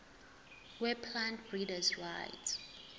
weplant breeders rights